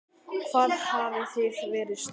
Hvað hafið þið fyrir stafni?